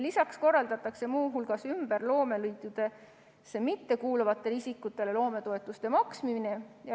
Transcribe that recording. Lisaks korraldatakse muu hulgas ümber loomeliitudesse mittekuuluvatele isikutele loometoetuste maksmine.